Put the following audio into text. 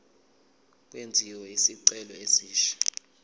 kwenziwe isicelo esisha